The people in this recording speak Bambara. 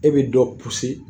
E be dɔ